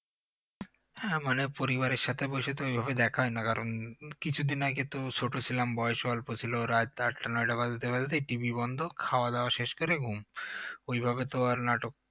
হ্যাঁ মানে পরিবারের সাথে বসে তো ওই ভাবে দেখা হয় না কারণ উম কিছুদিন আগে তো ছোট ছিলাম বয়সও অল্প ছিল রাত আটটা নয়টা বাজতে বাজতেই TV বন্ধ খাওয়া দাওয়া শেষ করে ঘুম ওইভাবে তো আর নাটক